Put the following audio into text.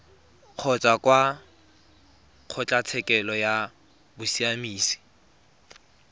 kgotsa kwa kgotlatshekelo ya bosiamisi